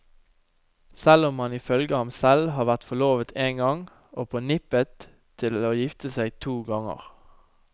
Selv om han ifølge ham selv har vært forlovet én gang og på nippet til å gifte seg to ganger.